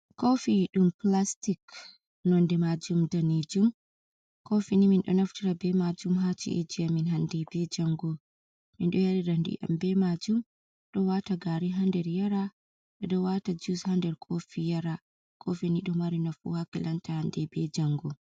Kofi ɗum plastik nonde majum danejum, kofi ni min ɗo naftira be majum ha ci’eji amin hande be jango, min ɗo yarira ndiyam be majum, ɗo wata gari ha nder yara, ɓeɗo wata jus ha nder kofi yara, kofi ni ɗo mari nafu ha kilanta hande be jango.